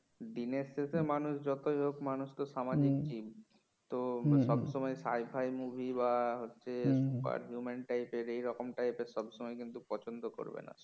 দিনের শেষে মানুষ যতই হোক মানুষ তো সামাজিক জিন তো সব সময় scifi movie বা হচ্ছে romance type র বা এরকম type র সব সময় কিন্তু পছন্দ করবে না